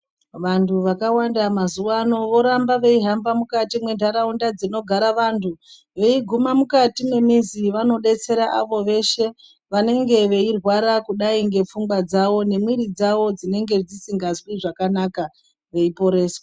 Vantu vakawanda mazuwaano voramba veihamba mukati mwentaraunda dzinogara vantu. Veiguma mukati mwemizi vanodetsera avo veshe, vanenge veirwara kudai ngepfungwa dzavo, nemwiiri dzavo dzinenge dzisingazwi zvakanaka ,veiporeswa.